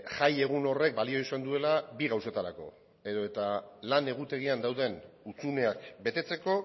jaiegun horrek balio izan duela bi gauzetarako edo eta lan egutegian dauden hutsuneak betetzeko